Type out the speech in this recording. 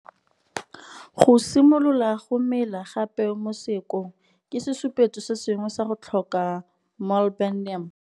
Go simolola go mela ga peo mo seakong ke sesupetso se sengwe sa go tlhoka molybdenum.